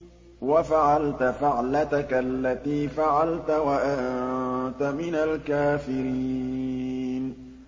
وَفَعَلْتَ فَعْلَتَكَ الَّتِي فَعَلْتَ وَأَنتَ مِنَ الْكَافِرِينَ